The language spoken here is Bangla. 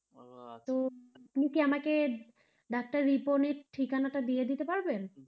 তো আপনি কি আমাকে ডাক্তার রিপনের ঠিকানাটা দিয়ে দিতে পারবেন?